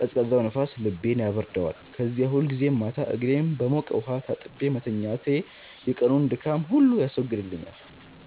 ቀዝቃዛው ንፋስ ልቤን ያበርደዋል። ከዚያ ሁልጊዜ ማታ እግሬን በሞቀ ውሃ ታጥቤ መተኛቴ የቀኑን ድካም ሁሉ ያስወግድልኛል።